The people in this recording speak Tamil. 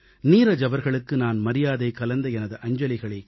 நீரஜ் அவர்களுக்கு நான் மரியாதை கலந்த எனது அஞ்சலிகளைக்